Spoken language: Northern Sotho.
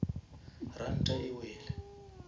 ranta e wele